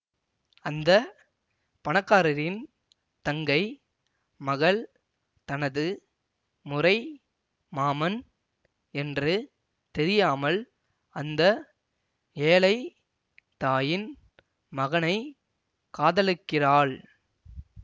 அந்த பணக்காரரின் தங்கை மகள் தனது முறை மாமன் என்று தெரியாமல் அந்த ஏழை தாயின் மகனை காதலிக்கிறாள்